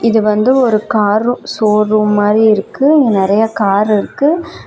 இது வந்து ஒரு காரு சோரூம் மாறி இருக்கு இங்க நெறய கார் இருக்கு.